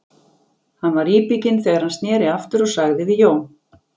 Hann var íbygginn þegar hann sneri aftur og sagði við Jón